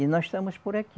E nós estamos por aqui.